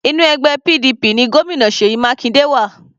Inú ẹgbẹ́ PDP ni Gómìnà Seyi Makinde wà.